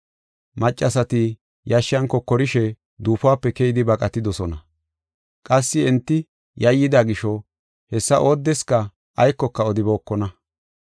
Maccasati yashshan kokorishe duufope keyidi baqatidosona. Qassi enti yayyida gisho, hessa oodeska aykoka odibookona.